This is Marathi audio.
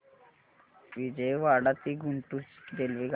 विजयवाडा ते गुंटूर ची रेल्वेगाडी